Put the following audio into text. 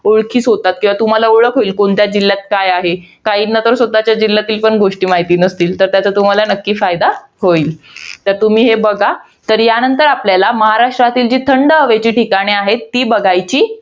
ओळखीस होतात. किंवा तुम्हाला ओळख होईल, कोणत्या जिल्ह्यात काय आहे. काहींना तर स्वतःच्या जिल्ह्यातील गोष्टी देखील माहित नसतील. तर त्याचा तुम्हाला नक्की फायदा होईल. तर तुम्ही हे बघा. तर या नंतर आपल्याला, महाराष्ट्रातील जी थंड हवेची ठिकाणं आहेत, ती बघायची